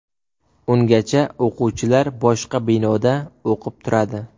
Ungacha o‘quvchilar boshqa binoda o‘qib turadi.